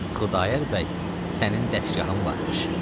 Xudayar bəy, sənin dəstgahın varmış.